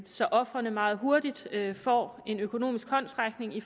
så ofrene meget hurtigt får en økonomisk håndsrækning i